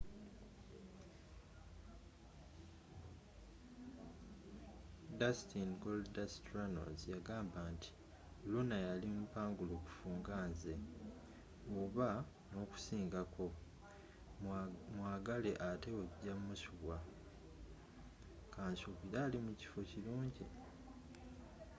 dustin goldust” runnels yagamba nti luna yali mupangulukuffu nga nze oba n’okunsingakomwagale atte ojja musubwakansubire ali mukifo kirungi.